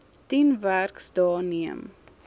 tien werksdae neem